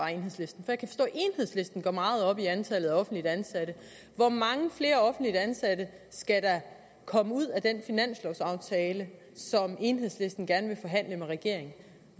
at enhedslisten går meget op i antallet af offentligt ansatte hvor mange flere offentligt ansatte skal der komme ud af den finanslovsaftale som enhedslisten gerne vil forhandle med regeringen